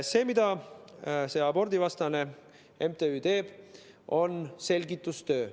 See, mida see abordivastane MTÜ teeb, on selgitustöö.